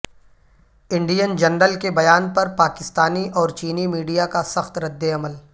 Indian general کے بیان پر پاکستانی اور چینی میڈیا کا سخت رد عمل